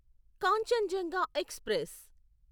Kanchenjunga express